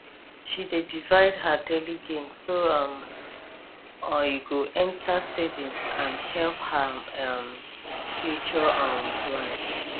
she dey divide her daily gain so e um go enter savings and help her um future um plan